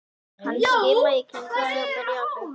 Hann skimaði í kringum sig og byrjaði að hlaupa.